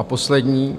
A poslední: